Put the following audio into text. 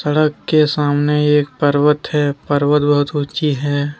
सड़क के सामने एक पर्वत है पर्वत बहुत ऊंची है ।